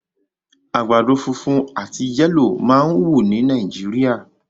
Àgbàdo funfun àti yẹlo máa ń wù ní Nàìjíríà